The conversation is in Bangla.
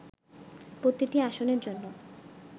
প্রতিটি আসনের জন্য